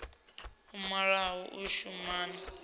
a malo u shumana na